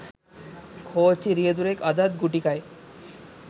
කෝච්චි රියදුරෙක් අදත් ගුටි කයි